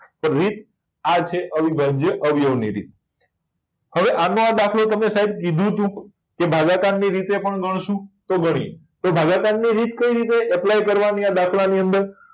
તો રીત આ છે અવિભાજ્ય અવયવી ની રીત હવે આનો આ દાખલો સાહેબ તમે કીધું હતું કે ભાગકર ની રીતે પણ ગણીશું તો ગણીએ તો ભાગકર ની રીત કઈ રીતે apply કરવા ની અ દાખલા ની અંદર